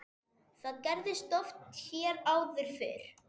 Það gerðist oft hér áður fyrr.